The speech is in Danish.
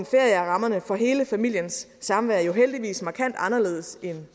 ferie er rammerne for hele familiens samvær jo heldigvis markant anderledes end